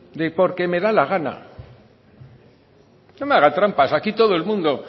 de porque me da la gana no me haga trampa aquí todo el mundo